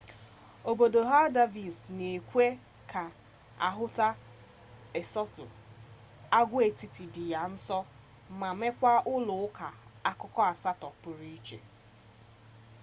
obodo haldarsvik na-ekwe ka ahụta eysturọị agwaetiti dị ya nso ma nwekwaa ụlọ ụka akụkụ asatọ pụrụ iche